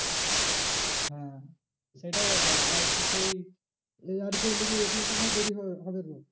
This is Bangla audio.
হ্যাঁ সেটাই ব্যাপার আর তো সেই add করে নিবি ATM দেরি হবে